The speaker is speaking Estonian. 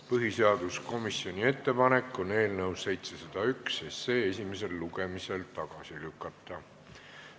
Põhiseaduskomisjoni ettepanek on eelnõu 701 esimesel lugemisel tagasi lükata.